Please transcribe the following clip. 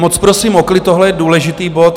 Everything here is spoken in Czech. Moc, prosím o klid, tohle je důležitý bod.